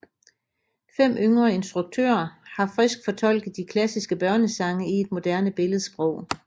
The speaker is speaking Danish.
Fem yngre instruktører har frisk fortolket de klassiske børnesange i et moderne billedsprog